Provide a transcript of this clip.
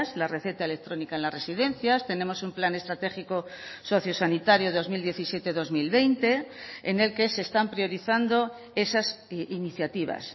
la receta electrónica en las residencias tenemos un plan estratégico sociosanitario dos mil diecisiete dos mil veinte en el que se están priorizando esas iniciativas